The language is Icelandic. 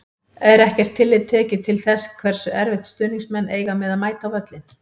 Er ekkert tillit tekið til þess hversu erfitt stuðningsmenn eiga með að mæta á völlinn?